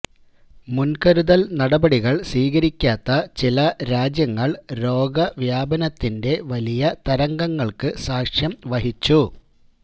മുൻകരുതൽ നടപടികൾ സ്വീകരിക്കാത്ത ചില രാജ്യങ്ങൾ രോഗവ്യാപനത്തിന്റെ വലിയ തരംഗങ്ങൾക്ക് സാക്ഷ്യം വഹിച്ചു